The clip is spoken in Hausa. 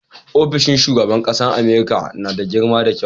ofishin shugaban ƙasar America nada girma da kyau